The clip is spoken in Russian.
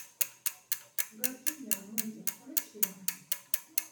гадкий я мультик включи